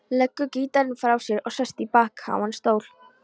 Leggur gítarinn frá sér og sest í bakháan stól.